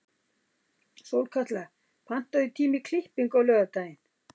Sólkatla, pantaðu tíma í klippingu á laugardaginn.